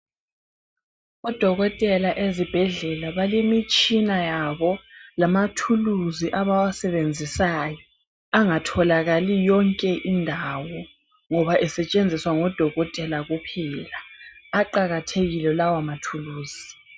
Odokotela ezibhedlela balemitshina yabo, lamathuluzi abawasebenzisayo angatholakali yonke indawo, ngoba esetshenziswa ngodokotela kuphela. Aqakathekile lawo mathuluzi.